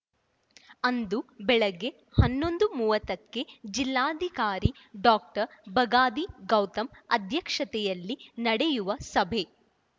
ಅಂದು ಬೆಳಗ್ಗೆ ಹನ್ನೊಂದು ಮೂವತ್ತಕ್ಕೆ ಜಿಲ್ಲಾಧಿಕಾರಿ ಡಾಕ್ಟರ್ ಬಗಾದಿ ಗೌತಮ್‌ ಅಧ್ಯಕ್ಷತೆಯಲ್ಲಿ ನಡೆಯುವ ಸಭೆ